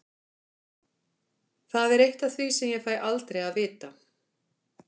Það er eitt af því sem ég fæ aldrei að vita.